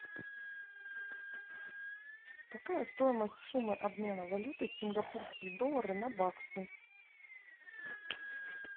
какая стоимость суммы обмена валюты сингапурские доллары на баксы